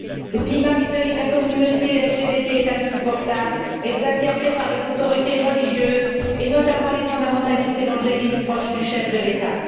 Le climat vis à vis de la communauté LGBT est insupportable, exacerbé par les autorités religieuses, et notamment les fondamentalistes évangélistes proches du chef de l'État.